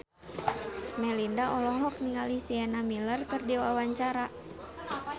Melinda olohok ningali Sienna Miller keur diwawancara